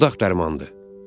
Fırıldaq dərmandır.